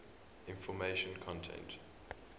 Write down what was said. information content